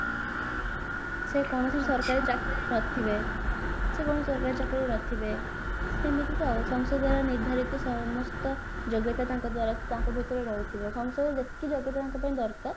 ସେ କୌଣସି ସରକାରୀ ଚାକିରି ରେ ନଥିବେ ସେ କୌଣସି ସରକାରୀ ଚାକିରି ରେ ନଥିବେ ସେମିତିକା ଆଉ ସସଂଦରେ ନିର୍ଧାରିତ ସମସ୍ତ ଯୋଗ୍ୟତା ତାଙ୍କ ଦ୍ଵାରା ତାଙ୍କ ଭିତରେ ରହିଥିବ ସସଂଦ ଯେତିକି ଯୋଗ୍ୟ ପିଲାଙ୍କ ପାଇଁ ଦରକାର